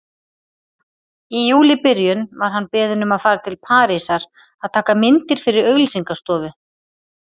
Í júlíbyrjun var hann beðinn um að fara til Parísar að taka myndir fyrir auglýsingastofu.